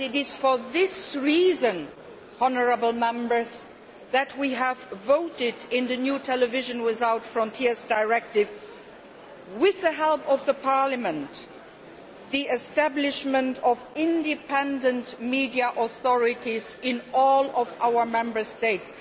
It is for this reason that we have voted in the new Television Without Frontiers Directive, with the help of the Parliament, for the establishment of independent media authorities in all of our Member States.